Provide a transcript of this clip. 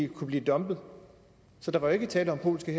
kunne blive dumpet så der var ikke tale om polske